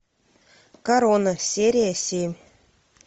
корона серия семь